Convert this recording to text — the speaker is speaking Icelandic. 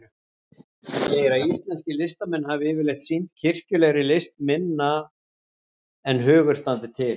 Segir að íslenskir listamenn hafi yfirleitt sinnt kirkjulegri list minna en hugur standi til.